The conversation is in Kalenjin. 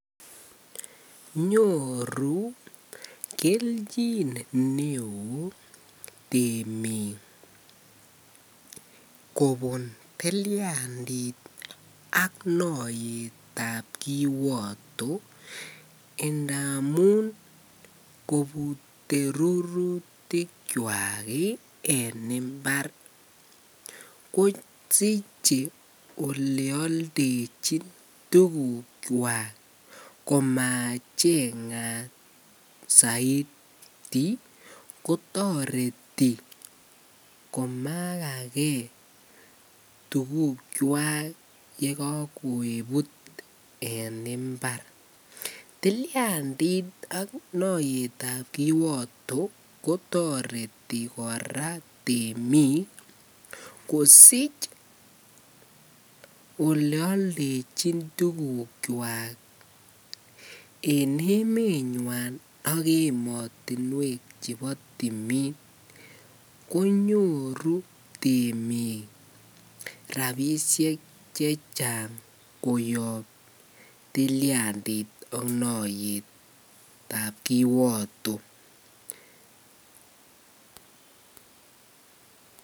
Nyoru kelchin neoo temik kobun tiliandit ak noyetab kiwoto ndamun kobute rurutikwak en imbar kosiche olee oldechin tukukwak komachengat saiti kotoreti komakake tukukwak yekokebut en imbar, tiliandit ak noyetab kiwoto kotoreti kora temik kosich oleoldechin tukukwak en emenywan ak emotinwek chebo timin konyoru temik rabishek chechang koyob tiliandit ak noyetab kiwoto.